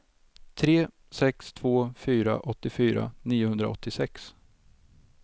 tre sex två fyra åttiofyra niohundraåttiosex